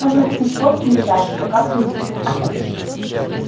можно купить водки и ждать пока придут